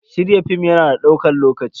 Shirya film ya na da ɗaukan lokaci.